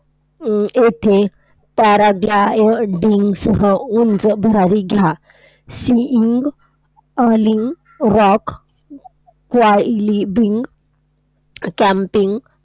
येथे paragliding सह उंच भरारी घ्या. seeing, , rock, camping